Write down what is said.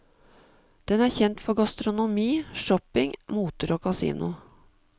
Den er kjent for gastronomi, shopping, moter og kasino.